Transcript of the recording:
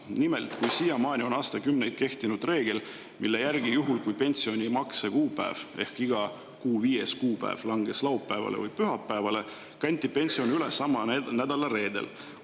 Nimelt, aastakümneid on kehtinud reegel, et juhul kui pensionimakse kuupäev ehk iga kuu viies kuupäev langeb laupäevale või pühapäevale, kantakse pension üle sama nädala reedel.